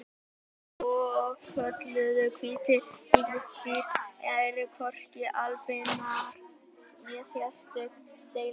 Hin svokölluðu hvítu tígrisdýr eru hvorki albinóar né sérstök deilitegund.